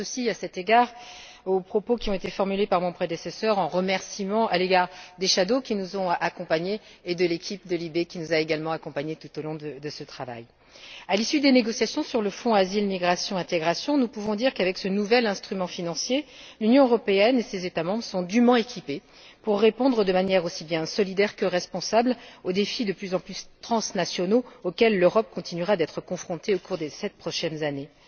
Je m'associe à cet égard aux propos qui ont été formulés par mon prédécesseur, en remerciement à l'égard des rapporteurs fictifs qui nous ont accompagnés et de l'équipe de la commission des libertés civiles, de la justice et des affaires intérieures, qui nous a également accompagnés tout au long de ce travail. À l'issue des négociations sur le Fonds Asile, migration et intégration, nous pouvons dire qu'avec ce nouvel instrument financier, l'Union européenne et ses États membres sont dûment équipés pour répondre de manière aussi bien solidaire que responsable aux défis de plus en plus transnationaux auxquels l'Europe continuera d'être confrontée au cours des sept prochaines années.